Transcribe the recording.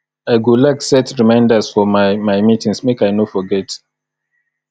i go like set reminders for my my meetings make i no forget